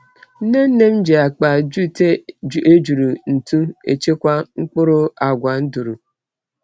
Nne nne m ji akpa jute ejuru ntụ echekwa mkpụrụ agwa nduru.